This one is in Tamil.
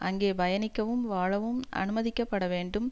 அங்கே பயணிக்கவும் வாழவும் அனுமதிக்கப்பட வேண்டும்